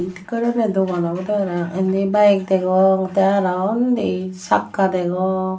tik goronney dogan obodey parapang indi bike degong tey arow undi sakka degong.